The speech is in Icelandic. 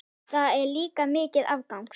Það er líka mikill áfangi.